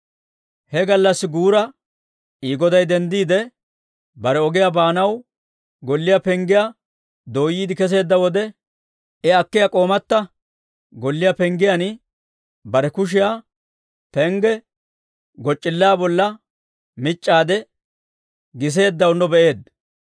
He gallassi guura I goday denddiide, bare ogiyaa baanaw golliyaa penggiyaa dooyyiide kesseedda wode, I akkiyaa k'oomatta golliyaa penggiyaan bare kushiyaa pengge goc'c'illaa bolla mic'c'aade, giseeddawunno be'eedda.